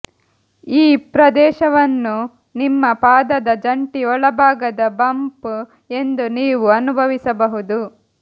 ಈ ಪ್ರದೇಶವನ್ನು ನಿಮ್ಮ ಪಾದದ ಜಂಟಿ ಒಳಭಾಗದ ಬಂಪ್ ಎಂದು ನೀವು ಅನುಭವಿಸಬಹುದು